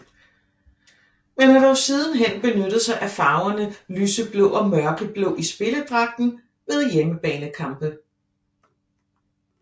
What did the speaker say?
Man har dog sidenhen benyttet sig af farverne lyseblå og mørkeblå i spilledragten ved hjemmebanekampe